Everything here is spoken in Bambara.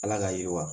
Ala ka yiriwa